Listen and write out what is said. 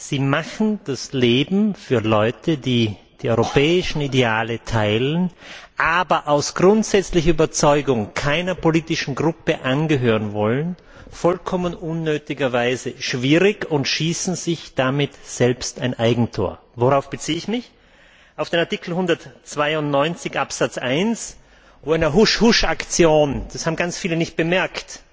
Sie machen das Leben für Leute, die die europäischen Ideale teilen, aber aus grundsätzlicher Überzeugung keiner politischen Gruppe angehören wollen, vollkommen unnötigerweise schwierig und schießen sich damit ein Eigentor. Worauf beziehe ich mich? Auf Artikel 192 Absatz 1, wo in einer Husch Husch Aktion das haben viele nicht bemerkt